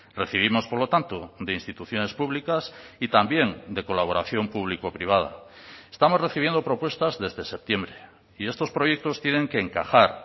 recibimos por lo tanto de instituciones públicas y también de colaboración público privada estamos recibiendo propuestas desde septiembre y estos proyectos tienen que encajar